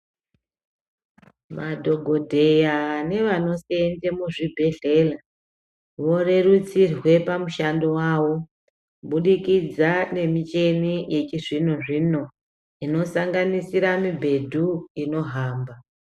Madhogodheya nevanosenza muzvibhedhlera vorerutsirwe pamushando wawo kubudikidza nemichina yechizvino zvino inosanganisira mibhedhu inohamba.